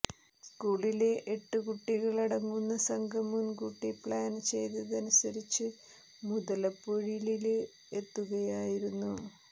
സ്കൂളിലെ എട്ട് കൂട്ടികള് അടങ്ങുന്ന സംഘം മുന്കൂട്ടി പ്ലാന് ചെയ്തതനുസരിച്ച് മുതലപൊഴിലില് എത്തുകയായിരുന്നു